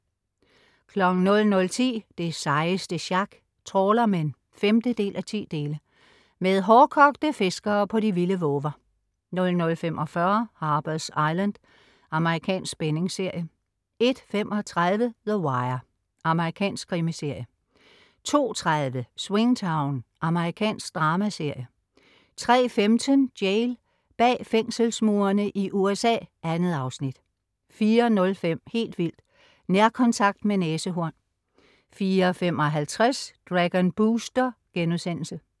00.10 Det sejeste sjak. Trawlermen 5:10. Med hårdkogte fiskere på de vilde vover 00.45 Harper's Island. Amerikansk spændingsserie 01.35 The Wire. Amerikansk krimiserie 02.30 Swingtown. Amerikansk dramaserie 03.15 Jail. Bag fængselsmurene i USA. 2 afsnit 04.05 Helt vildt: Nærkontakt med næsehorn 04.55 Dragon Booster*